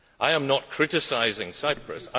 I am not criticising Cyprus.